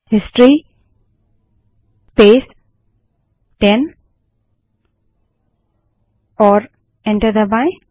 history space 10 type करें और enter दबायें